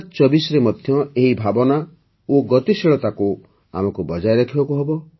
୨୦୨୪ରେ ମଧ୍ୟ ଏହି ଭାବନା ଓ ଗତିଶୀଳତାକୁ ଆମକୁ ବଜାୟ ରଖିବାକୁ ହେବ